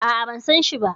A'a, ban sanshi ba.